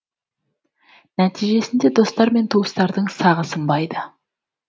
нәтижесінде достар мен туыстардың сағы сынбайды